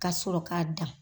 Ka sɔrɔ k'a dan.